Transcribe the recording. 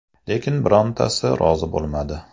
Lekin birontasi rozi bo‘lmadi.